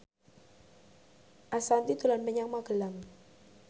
Ashanti dolan menyang Magelang